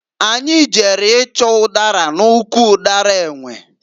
Anyị jere ịchọ ụdara n'ụkwụ ụdara enwe.